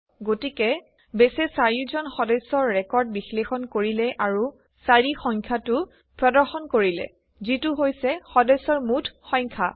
গতিকে বেছে চাৰিওজন সদস্যৰ ৰেকৰ্ড বিশ্লেষণ কৰিলে আৰু ৪ সংখ্যটো প্ৰদৰ্শন কৰিলে যিটো হৈছে সদস্যৰ মুঠ সংখ্যা